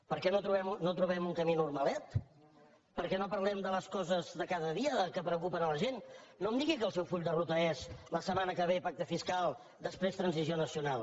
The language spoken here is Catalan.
per què no trobem un camí normalet per què no parlem de les coses de cada dia que preocupen la gent no em digui que el seu full de ruta és la setmana que ve pacte fiscal després transició nacional